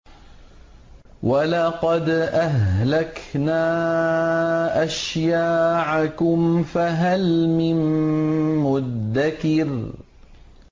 وَلَقَدْ أَهْلَكْنَا أَشْيَاعَكُمْ فَهَلْ مِن مُّدَّكِرٍ